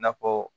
Na fɔ